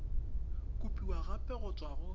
kopiwa gape go tswa go